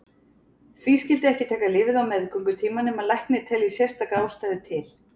Því skyldi ekki taka lyfið á meðgöngutíma nema læknir telji sérstaka ástæðu til.